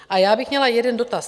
A já bych měla jeden dotaz.